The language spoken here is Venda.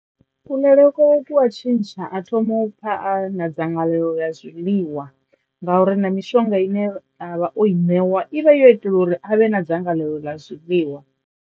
Kuḽele kwawe kua tshintsha a thoma u pfha na dzangalelo ḽa zwiḽiwa nga uri na mishonga ine a vha o i ṋewa i vha yo itela uri a vhe na dzangalelo ḽa zwiḽiwa.